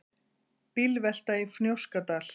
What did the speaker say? Bílvelta í Fnjóskadal